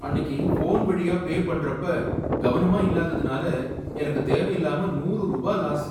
அன்னிக்கு, ஃபோன் வழியா பே பண்றப்ப கவனமா இல்லாததுனால எனக்கு தேவையில்லாம நூறு ரூபாய் லாஸ்.